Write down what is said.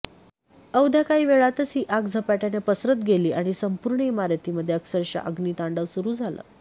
अवघ्या काही वेळातच ही आग झपाट्याने पसरत गेली आणि संपूर्ण इमारतीमध्ये अक्षरशः अग्नितांडव सुरू झालं